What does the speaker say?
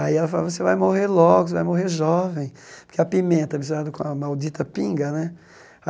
Aí ela falava, você vai morrer logo, você vai morrer jovem, porque a pimenta misturada com a maldita pinga, né?